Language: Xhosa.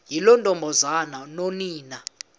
yiloo ntombazana nonina